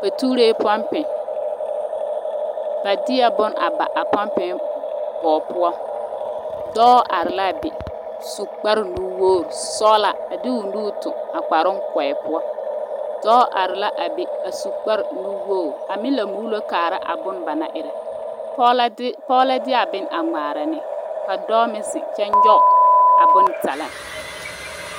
pumpi la ka ba tuuro, ba tuuree pumpi ba deɛ bone a ba a pumpi bogi poɔ, dɔɔ are la be su kpaar nu woor sɔɔlaa de nuuri a toŋi eŋ a kpaaroŋ poɔ dɔɔ meŋ la are la be a meŋ la su kpaar nuwogi a meŋ la muulo kaara a bone ba naŋ erɛ. Pɔge la de a bone ŋmaara ne la ka dɔɔ meŋ ziŋ kyɛ nyɔgi a bone taleŋ